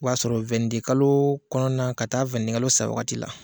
O b'a sɔrɔ wɛnni de kalo kɔnɔna ka taa wɛnni de kalo sa wagati la